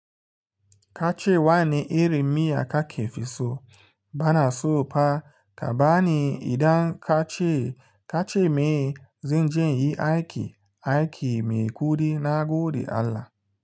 Ka ce wa ni iri miya ka ke fi so, ba na so fa. Ka ba ni idan ka ce, ka ce me zan je in yi aiki, aiki mai kuɗi na gode Allah.